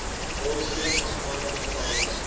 rolspelers aangaande luggehalte